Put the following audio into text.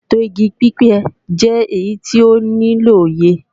ètò igi pípẹ́ jẹ́ èyí tó nílò òye